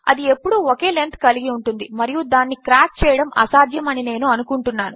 అదిఎప్పుడుఒకేలెంత్కలిగిఉంటుందిమరియుదానిక్రాక్చేయడముఅసాధ్యముఅనినేనుఅనుకుంటున్నాను